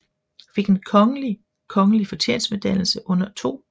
Fik en kongelig kongelig fortjenstmedalje under 2